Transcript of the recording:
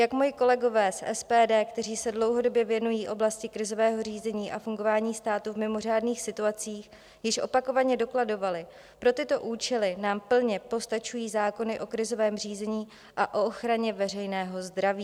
Jak moji kolegové z SPD, kteří se dlouhodobě věnují oblasti krizového řízení a fungování státu v mimořádných situacích, již opakovaně dokladovali, pro tyto účely nám plně postačují zákony o krizovém řízení a o ochraně veřejného zdraví.